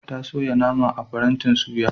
Ta soya nama a farantin suya.